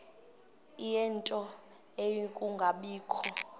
ie nto yokungabikho